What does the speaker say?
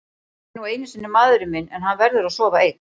Hann er nú einu sinni maðurinn minn en hann verður að sofa einn.